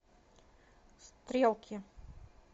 стрелки